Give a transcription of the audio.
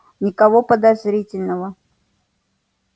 никого подозрительного